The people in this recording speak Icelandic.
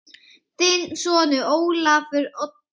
Þinn sonur, Ólafur Oddur.